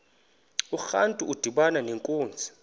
urantu udibana nenkunzi